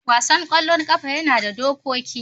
wasan kwallon kafa yana da dokoki.